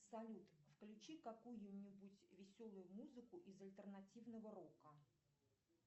салют включи какую нибудь веселую музыку из альтернативного рока